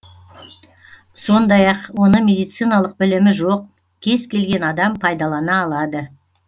сондай ақ оны медициналық білімі жоқ кез келген адам пайдалана алады